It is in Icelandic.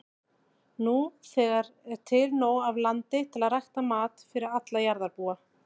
Nú þegar er til nóg af landi til að rækta mat fyrir alla jarðarbúa.